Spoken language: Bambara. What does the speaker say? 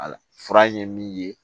Ala fura ye min ye